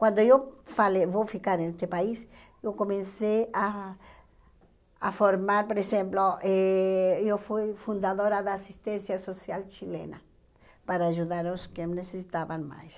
Quando eu falei, vou ficar nesse país, eu comecei a a formar, por exemplo, eh eu fui fundadora da assistência social chilena, para ajudar os que me necessitavam mais.